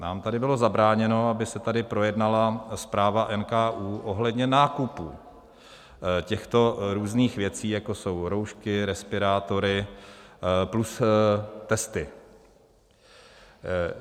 Nám tady bylo zabráněno, aby se tady projednala zpráva NKÚ ohledně nákupů těchto různých věcí, jako jsou roušky, respirátory plus testy.